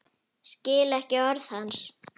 Skil ekki orð hans.